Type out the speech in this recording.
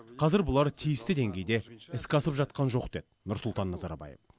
қазір бұлар тиісті деңгейде іске асып жатқан жоқ деді нұрсұлтан назарбаев